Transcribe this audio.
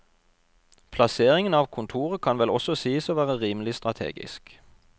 Plasseringen av kontoret kan vel også sies å være rimelig strategisk.